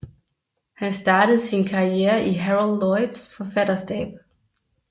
Han startede sin karriere i Harold Lloyds forfatterstab